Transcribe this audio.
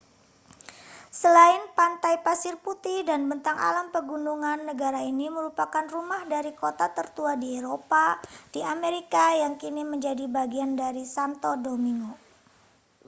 selain pantai pasir putih dan bentang alam pegunungan negara ini merupakan rumah dari kota tertua di eropa di amerika yang kini menjadi bagian dari santo domingo